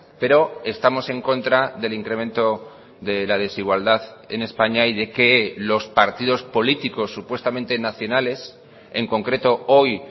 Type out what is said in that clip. pero estamos en contra del incremento de la desigualdad en españa y de que los partidos políticos supuestamente nacionales en concreto hoy